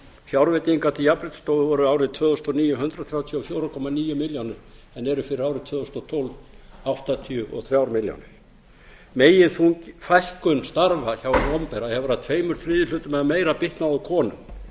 fjárveitingar til jafnréttisstofu voru árið tvö þúsund og níu hundrað þrjátíu og fjögur komma níu milljónir en eru fyrir árið tvö þúsund og tólf áttatíu og þrjár milljónir meginfækkun starfa hjá hinu opinbera hefur að tveir þriðju eða meira bitnað á konum